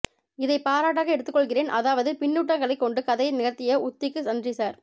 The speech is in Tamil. இதைப் பாராட்டாக எடுத்துக் கொள்கிறேன் அதாவது பின்னூட்டங்களைக் கொண்டு கதையை நகர்த்திய உத்திக்கு நன்றி சார்